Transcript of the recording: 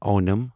Onam